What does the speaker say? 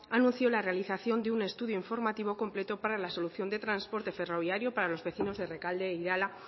anunció la realización de un estudio informativo completo para la solución de transporte ferroviario para los vecinos de rekalde e irala